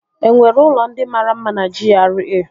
Enwere ụlọ ndị mara mma na GRA?